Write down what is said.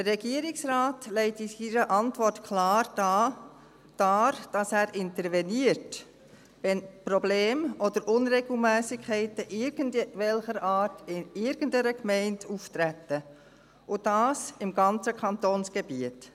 Der Regierungsrat legt in seiner Antwort klar dar, dass er interveniert, wenn Probleme oder Unregelmässigkeiten irgendwelcher Art in irgendeiner Gemeinde auftreten und das im ganzen Kantonsgebiet.